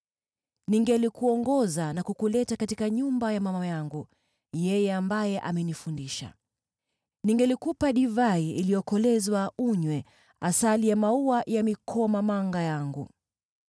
Ningelikuongoza na kukuleta katika nyumba ya mama yangu, yeye ambaye amenifundisha. Ningelikupa divai iliyokolezwa unywe, asali ya maua ya mikomamanga yangu.